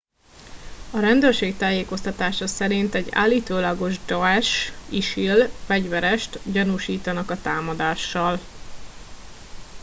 a rendőrség tájékoztatása szerint egy állítólagos daesh isil fegyverest gyanúsítanak a támadással